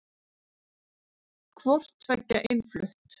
Hvort tveggja innflutt.